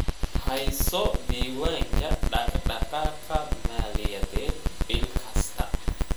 Hayso diiwaanka dhaqdhaqaaqa maaliyadeed bil kasta.